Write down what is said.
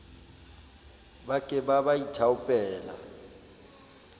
ba ke ba ba ithaopela